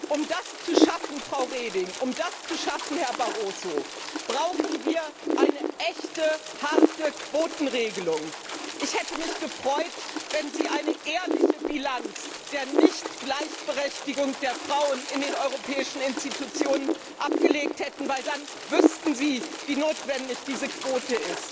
Um das zu schaffen, Frau Reding, um das zu schaffen, Herr Barroso, brauchen wir eine echte, harte Quotenregelung. Ich hätte mich gefreut, wenn Sie eine ehrliche Bilanz der Nichtgleichberechtigung der Frauen in den europäischen Organen gezogen hätten, denn dann wüssten Sie, wie notwendig diese Quote